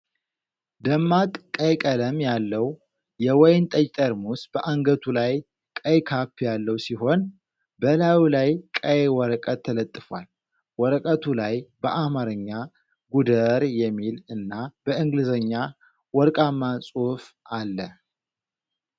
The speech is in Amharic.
ደማቅ ቀይ ቀለም ያለው የወይን ጠጅ ጠርሙስ በአንገቱ ላይ ቀይ ካፕ ያለው ሲሆን፣ በላዩ ላይ ቀይ ወረቀት ተለጥፏል። ወረቀቱ ላይ በአማርኛ "ጉደር" የሚል እና በእንግሊዝኛ ወርቃማ ጽሑፍ አለ።